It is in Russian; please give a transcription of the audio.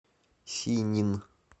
синнин